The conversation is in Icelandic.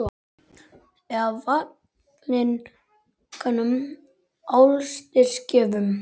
Eða valinkunnum álitsgjöfum?